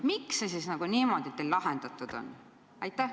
Miks see asi teil niimoodi siis lahendatud on?